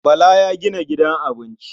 Bala ya gina gidan abinci.